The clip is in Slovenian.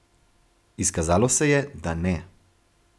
Izkazalo se je, da ne.